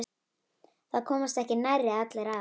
Það komast ekki nærri allir að.